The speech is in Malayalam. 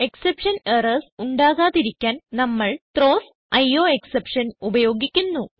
എക്സെപ്ഷൻ എറർസ് ഉണ്ടാകാതിരിക്കാൻ നമ്മൾ ത്രോവ്സ് അയോഎക്സെപ്ഷൻ ഉപയോഗിക്കുന്നു